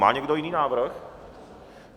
Má někdo jiný návrh?